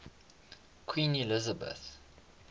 queen elizabeth